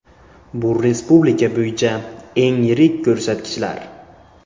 Bu respublika bo‘yicha eng yirik ko‘rsatkichlar.